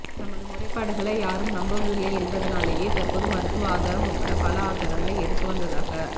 தமது முறைப்பாடுகளை யாரும் நம்புவதில்லை என்பதனாலேயே தற்போது மருத்துவ ஆதாரம் உட்பட பல ஆதாரங்களை எடுத்து வந்ததாக